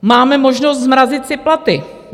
Máme možnost zmrazit si platy.